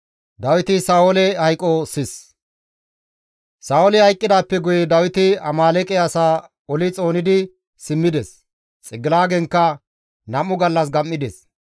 Sa7ooli hayqqidaappe guye Dawiti Amaaleeqe asaa oli xoonidi simmides; Xigilaagenkka nam7u gallas gam7ides.